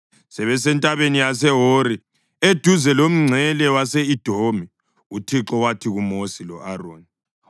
Sebesentabeni yaseHori, eduze lomngcele wase-Edomi, uThixo wathi kuMosi lo-Aroni,